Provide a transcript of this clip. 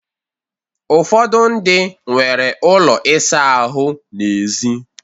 Ụfọdụ ndị nwere ụlọ ịsa ahụ ha n'èzí